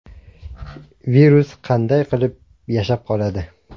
Virus qanday qilib yashab qoladi?